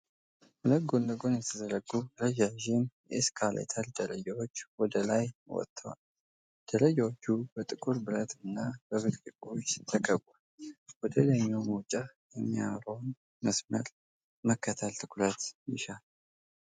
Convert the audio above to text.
ሁለት ጎን ለጎን የተዘረጉ ረዣዥም የኤስካሌተር ደረጃዎች ወደ ላይ ወጥተዋል። ደረጃዎቹ በጥቁር ብረት እና በብርጭቆዎች ተከበዋል። ወደ ላይኛው መውጫ የሚያመራውን መስመር መከተል ትኩረት ይሻል።